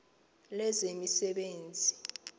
lezemisebenzi